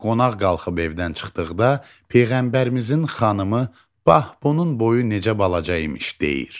Qonaq qalxıb evdən çıxdıqda, Peyğəmbərimizin xanımı "Bax, bunun boyu necə balaca imiş!" deyir.